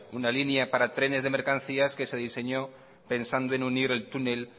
una línea para trenes de mercancías que se diseñó pensando en unir el túnel